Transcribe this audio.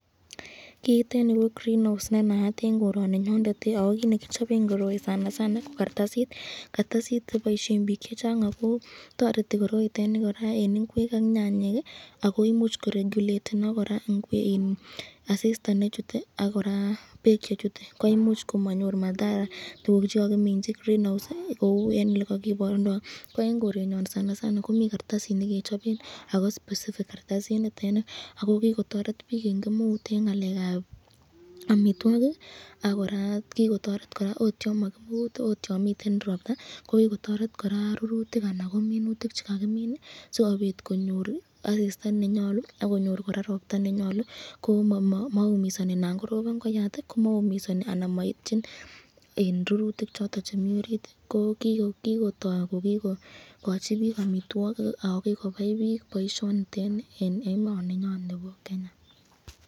Kiitet nipo greenhouse nenaat en korinyon ako kit nekichopen koroi sanasana ko kartasit, kartasit neboisien biik chechang akoo toreti koroitet ni kora en ingwek ak nyanyik ako imuch koregulatenok kora asista nechute akora beek chechute koimuch komoyor madhara tukuk chekokiminchi greenhouse kou elen olekokiborundon, ko en korenyon sanasana komi kartasit nekechopen ako specific kartasinitet ni ako kikotoret biik en kemeut en ngalekab amitwokik akora kikotoret ot yon mokiput ot yon miten ropta kokikotoret kora rurutik ana ko minutik chekakimin sikopit konyor asista nenyolu akonyor kora ropta nenyolu komoumisoni nan koropon koyat komoumisoni anan moityin en rurutik choton chemi orit koo kikotok ko kikochi biik amitwokik ako kikopai biik boisionito nii en emoninyon nipo Kenya.